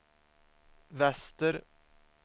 väster